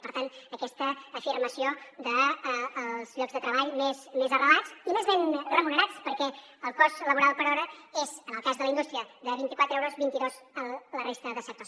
per tant aquesta afirmació dels llocs de treball més arrelats i més ben remunerats perquè el cost laboral per hora és en el cas de la indústria de vint i quatre euros vint i dos a la resta de sectors